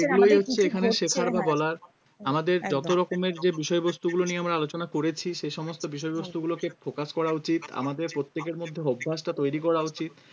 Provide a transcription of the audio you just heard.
তুমি হচ্ছে এখানে শেখার বা বলার আমাদের যত রকমের যে বিষয়বস্তু গুলো নিয়ে আমরা আলোচনা করেছি সে সমস্ত বিষয়বস্তুগুলোকে focus করা উচিত আমাদের প্রত্যেকের মধ্যে অভ্যাসটা তৈরি করা উচিত